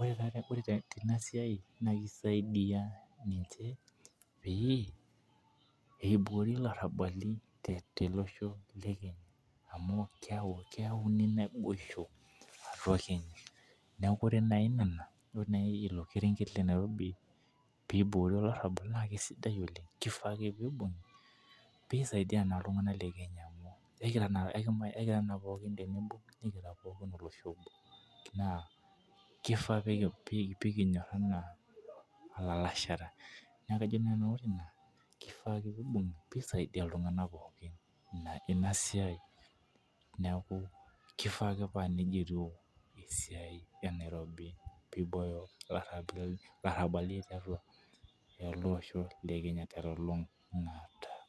ore teina siai, naa kisaidia ninche peyie, eiboori, ilarabali tolosho le Kenya, amu, keeku keyauni naboisho atua Kenya, neeku ore naaji Nena ilo kerenket le nairobi, pee iboori olarabal naa kisidai oleng. kifaa ake pee isaidia iltunganak le kenya. kegira naake naa kifaa pee kinyora anaa ilalashera.